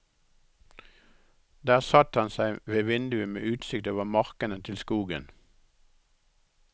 Der satte han seg ved vinduet med utsikt over markene til skogen.